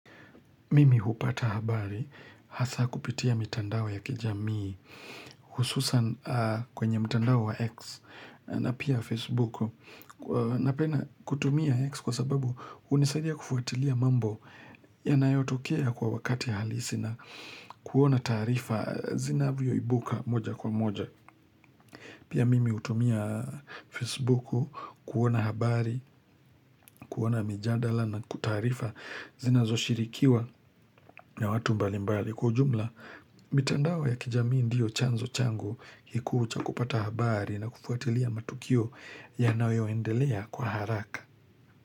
Mimi hupata habari hasaa kupitia mitandao ya kijamii hususan kwenye mitandao wa X na pia Facebooku. Napena kutumia X kwa sababu hunisadia kufuatilia mambo yanayotokea kwa wakati halisi na kuona taarifa zinavyoibuka moja kwa moja. Pia mimi hutumia Facebook kuona habari, kuona mijadala na kutaarifa zinazoshirikiwa na watu mbalimbali. Kwa ujumla, mitandao ya kijamii ndio chanzo changu kikuu cha kupata habari na kufuatilia matukio yanayoendelea kwa haraka.